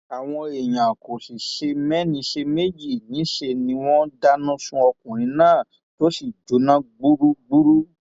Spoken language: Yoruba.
àwọn èèyàn kò sì ṣe mẹni ṣe méjì níṣẹ ni wọn dáná sun ọkùnrin náà tó sì jóná gbúgbúrú